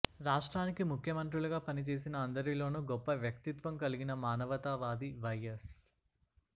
రాష్ట్రానికి ముఖ్యమంత్రులుగా పనిచేసిన అందరిలోనూ గొప్ప వ్యక్తిత్వం కల్గిన మానవతావాది వైఎస్